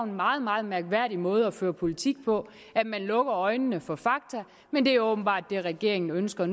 meget meget mærkværdig måde at føre politik på at man lukker øjnene for fakta men det er åbenbart det regeringen ønsker